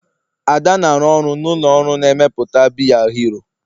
Ada na-arụ ọrụ na ụlọ ọrụ na-emepụta biya hero